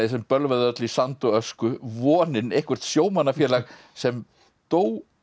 sem bölvaði öllu í sand og ösku vonin eitthvert sjómannafélag sem dó